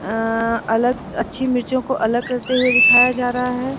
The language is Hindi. अअन अलग अच्छी मिर्चो को अलग करते हुए दिखाया जा रहा है।